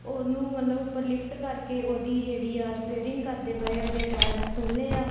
ਉਹਨੂੰ ਮਤਲਬ ਉੱਪਰ ਲਿਫਟ ਕਰਕੇ ਉਹਦੀ ਜਿਹੜੀ ਆ ਰਿਪੇਅਰਿੰਗ ਕਰਦੇ ਪਏ ਉਹਦੇ ਟਾਇਰਸ ਖੋਲੇ ਆ।